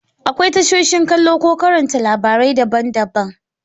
Akwai tashoshin kallo ko karanta labarai daban-daban.